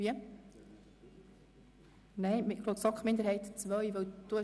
Boss möchte gar nicht für die Minderheit II sprechen.